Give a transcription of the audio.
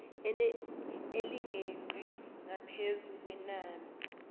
elingeqi ngaphezu kwenani